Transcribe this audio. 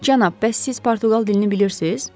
Cənab, bəs siz Portuqal dilini bilirsiz?